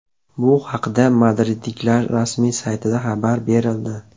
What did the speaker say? Bu haqda madridliklar rasmiy saytida xabar berildi.